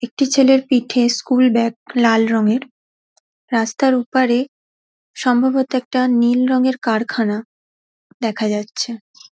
একটি ছেলের পিঠে স্কুল ব্যাগ লাল রঙের রাস্তার ওপারে সম্ভবত একটা নীল রং কারখানা দেখা যাচ্ছে ।